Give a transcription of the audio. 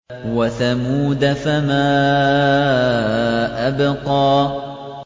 وَثَمُودَ فَمَا أَبْقَىٰ